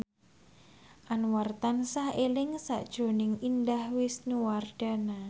Anwar tansah eling sakjroning Indah Wisnuwardana